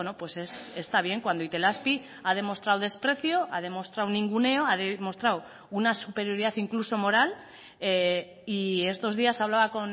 pues está bien cuando itelazpi ha demostrado desprecio ha demostrado ninguneo ha demostrado una superioridad incluso moral y estos días hablaba